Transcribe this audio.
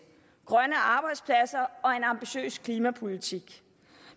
grønne arbejdspladser og en ambitiøs klimapolitik